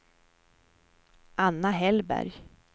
Anna Hellberg